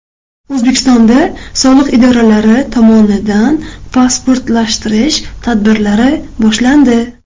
O‘zbekistonda soliq idoralari tomonidan pasportlashtirish tadbirlari boshlandi.